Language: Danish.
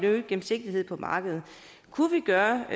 øget gennemsigtighed på markedet kunne vi gøre